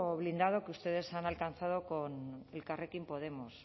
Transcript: blindado que ustedes han alcanzado con elkarrekin podemos